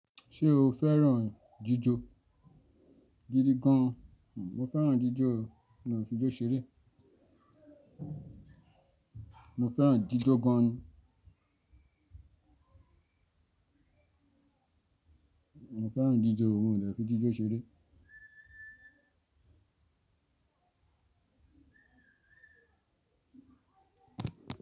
Ṣé o fẹ́ràn jíjó? Gidi gan. Mo fẹ́ràn jíjó, mi o lè fi jó ṣeré. Mo fẹ́ràn jíjó gan ni. Mo fẹ́ràn jíjó, mi ò lè fi jíjó ṣeré.